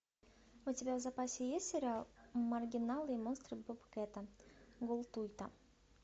у тебя в запасе есть сериал маргиналы и монстры бобкэта голдтуэйта